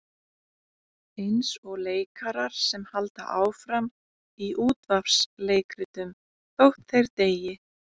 Eins og leikarar sem halda áfram í útvarpsleikritum þótt þeir deyi.